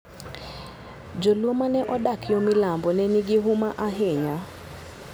Jo-Luo ma ne odak yo milambo ne nigi huma ahinya.